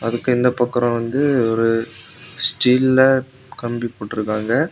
அதுக்கு இந்த பக்கம் வந்து ஒரு ஸ்டீல்ல கம்பி போட்டுருக்காங்க.